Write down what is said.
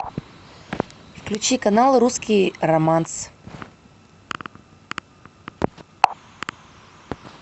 включи канал русский романс